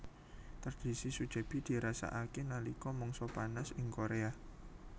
Tradisi sujebi dirasakake nalika mangsa panas ingKorea